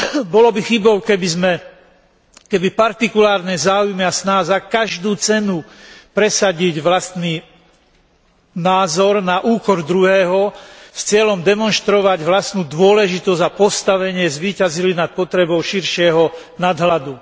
Bolo by chybou, keby partikulárne záujmy a snaha za každú cenu presadiť vlastný názor na úkor druhého s cieľom demonštrovať vlastnú dôležitosť a postavenie zvíťazili nad potrebou širšieho nadhľadu.